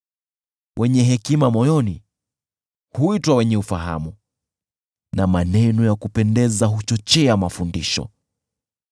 Wenye hekima moyoni huitwa wenye ufahamu, na maneno ya kupendeza huchochea mafundisho.